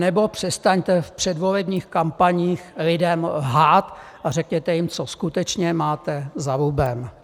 Anebo přestaňte v předvolebních kampaních lidem lhát a řekněte jim, co skutečně máte za lubem.